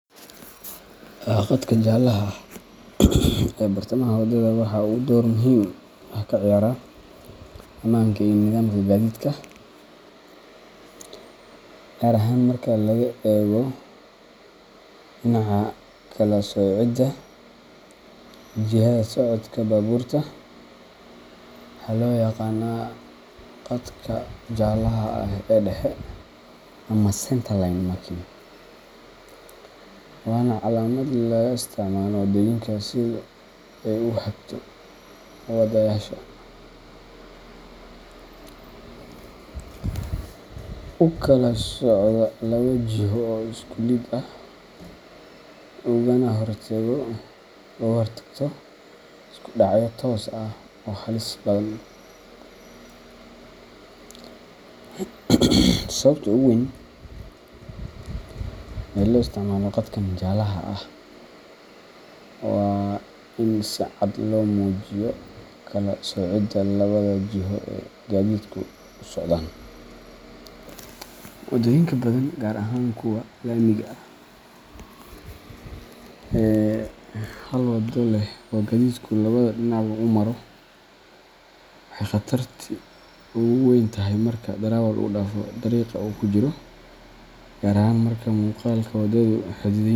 Khadka jaalaha ah ee bartamaha waddada waxa uu door muhiim ah ka ciyaaraa ammaanka iyo nidaamka gaadiidka, gaar ahaan marka laga eego dhinaca kala soocidda jihada socodka baabuurta. Waxaa loo yaqaanaa "khadka jaalaha ah ee dhexe" ama centerline marking, waana calaamad laga isticmaalo waddooyinka si ay u hagto wadeyaasha, u kala soocdo laba jiho oo isku lid ah, ugana hortagto isku dhacyo toos ah oo halis badan. Sababta ugu weyn ee loo isticmaalo khadkan jaalaha ah waa in si cad loo muujiyo kala soocidda labada jiho ee gaadiidku u socdaan. Waddooyinka badan, gaar ahaan kuwa laamiga ah ee hal waddo leh oo gaadiidku labada dhinacba u maro, waxay khatarti ugu weyn tahay marka darawal u dhaafo dariiqa uu ku jiro, gaar ahaan marka muuqaalka waddadu xaddidan yahay.